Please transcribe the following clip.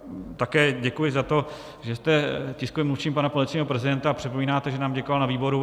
Také děkuji za to, že jste tiskovým mluvčím pana policejního prezidenta a připomínáte, že nám děkoval na výboru.